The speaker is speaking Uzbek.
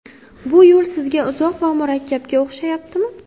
Bu yo‘l sizga uzoq va murakkabga o‘xshayaptimi?